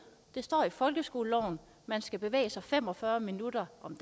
det står i folkeskoleloven at man skal bevæge sig fem og fyrre minutter om